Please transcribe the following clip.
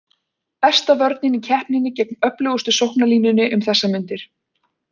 Besta vörnin í keppninni gegn öflugust sóknarlínunni um þessar mundir.